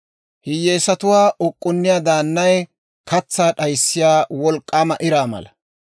Hiyyeesatuwaa uk'k'unniyaa daannay katsaa d'ayissiyaa wolk'k'aama iraa mala.